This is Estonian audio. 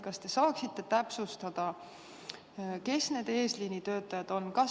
Kas te saaksite täpsustada, kes need eesliini töötajad on?